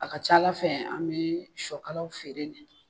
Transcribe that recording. A ka ca ala fɛ an bɛ siyɔkala feere .